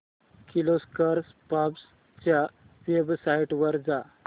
Kirloskar pumps च्या website वर जा